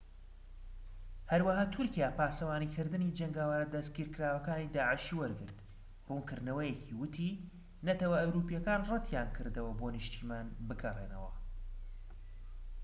هەروەها تورکیا پاسەوانیکردنی جەنگاوەرە دەستگیرکراوەکانی داعشی وەرگرت ڕوونکردنەوەیەکی ووتی نەتەوە ئەوروپیەکان ڕەتیانکردەوە بۆ نیشتیمان بگەڕێنەوە